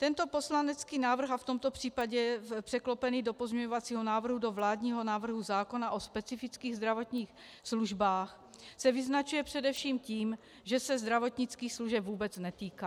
Tento poslanecký návrh, a v tomto případě překlopený do pozměňovacího návrhu do vládního návrhu zákona o specifických zdravotních službách, se vyznačuje především tím, že se zdravotnických služeb vůbec netýká.